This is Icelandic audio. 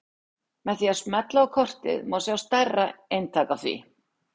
Með því að smella á kortið má sjá stærri eintak af því.